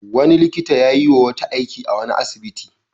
Wani likita ya yi wa wata aiki a wani asibiti.